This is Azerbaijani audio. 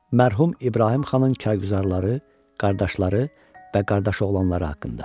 Mərhum İbrahim xanın kargüzarları, qardaşları və qardaşoğlanları haqqında.